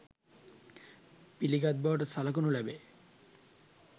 පිළිගත් බවට සලකනු ලැබේ